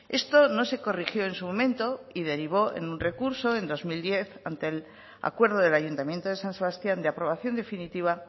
esto no se corrigió en su momento y derivó en un recurso en dos mil diez ante el acuerdo del ayuntamiento de san sebastián de aprobación definitiva